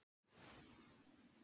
Lundargötu